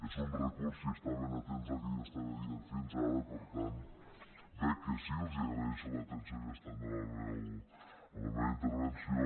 és un recurs per si estaven atents al que jo estava dient fins ara per tant veig que sí els agraeixo l’atenció que estaven donant a la meva intervenció